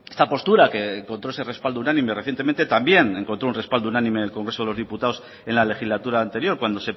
esta postura que encontró ese respaldo unánime recientemente también encontró un respaldo unánime en el congreso de los diputados en la legislatura anterior cuando